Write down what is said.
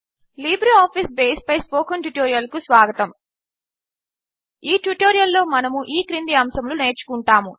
LibreOffice బేస్పై spoken ట్యుటోరియల్కు స్వాగతం ఈ ట్యుటోరియల్లో మనము ఈ క్రింది అంశములు నేర్చుకుంటాము